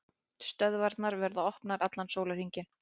Stöðvarnar verða opnar allan sólarhringinn